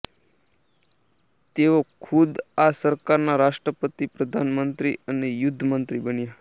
તેઓ ખુદ આ સરકારના રાષ્ટ્રપતિ પ્રધાનમંત્રી અને યુદ્ધમંત્રી બન્યા